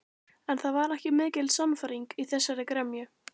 En það var ekki mikil sannfæring í þessari gremju.